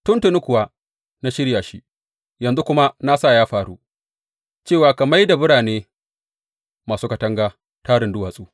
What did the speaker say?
Tuntuni kuwa na shirya shi; yanzu kuma na sa ya faru, cewa ka mai da birane masu katanga tarin duwatsu.